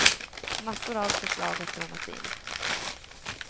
Massor av förslag har strömmat in.